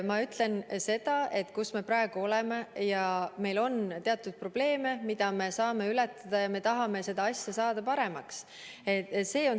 Ma ütlen, mis seisus me praegu oleme, ja tunnistan, et meil on teatud probleeme, mida me saame ületada, kui me tahame seda asja paremaks teha.